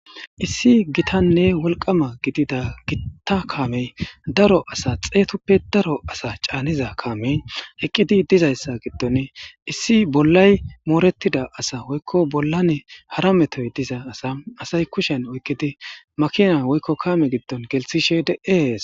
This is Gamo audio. Issi gitanne wolqama gidida gita kamey daro asa xeetuppe daro asa canida kamey eqidi dizaysa giddon issi bollay mooretida asa woyko bollan hara metoy duza asa asay kushen oykid makina woykonkaame gido gelithishe de'es